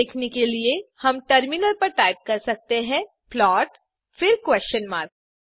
यह देखने के लिए हम टर्मिनल पर टाइप कर सकते हैं प्लॉट फिर क्वेस्शन मार्क